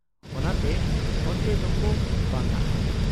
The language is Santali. ᱚᱱᱟᱛᱮ ᱚᱱᱛᱮ ᱫᱚᱠᱚ ᱵᱟᱝᱟᱜ ᱟ ᱾